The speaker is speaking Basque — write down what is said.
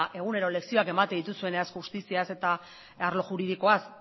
egunero lezioak ematen dituzuenak justiziaz eta arlo juridikoaz